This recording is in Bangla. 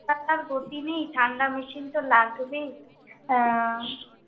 গতি নেই, ঠাণ্ডা machine তো লাগবেই, হ্যাঁ,